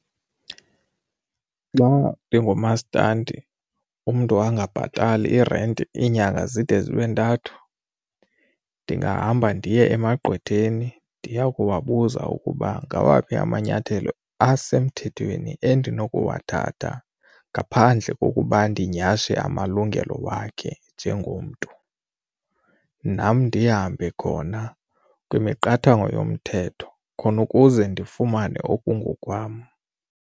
Xa ndingumastandi umntu angabhatali irenti iinyanga zide zibe ntathu ndingahamba ndiye emagqwetheni ndiya kuwabuza ukuba ngawaphi amanyathelo asemthethweni endinokuwathatha ngaphandle kokuba ndinyhashe amalungelo wakhe njengomntu. Nam ndihambe khona kwimiqathango yomthetho khona ukuze ndifumane okungokwam.